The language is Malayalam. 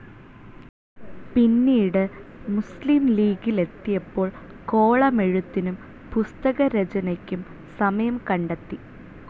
പിന്നീടു മുസ്‍‌ലിം ലീഗിലെത്തിയപ്പോൾ കോളമെഴുത്തിനും പുസ്തകരചനയ്ക്കും സമയം കണ്ടെത്തി.